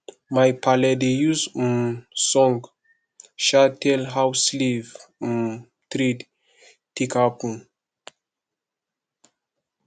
my paale dey use um song um tell how slave um trade take happen